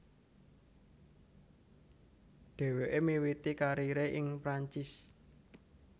Dheweke miwiti karire ing Perancis